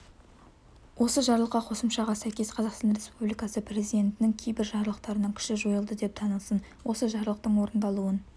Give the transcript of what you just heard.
осы жарлыққа қосымшаға сәйкес қазақстан республикасы президентінің кейбір жарлықтарының күші жойылды деп танылсын осы жарлықтың орындалуын